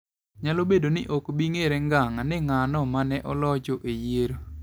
. Nyalo bedo ni ok bi ng'ere ngang' ni ng'ano ma ne olocho e yiero.